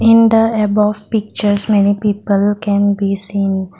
in the above pictures many people can be seen.